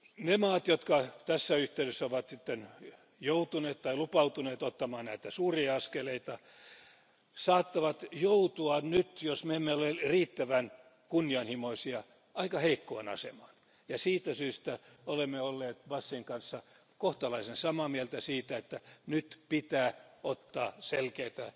Ne maat, jotka tässä yhteydessä ovat joutuneet tai lupautuneet ottamaan näitä suuria askeleita, saattavat joutua nyt, jos me emme ole riittävän kunnianhimoisia, aika heikkoon asemaan. Siitä syystä olemme olleet Basin kanssa kohtalaisen samaa mieltä siitä, että nyt pitää ottaa selkeitä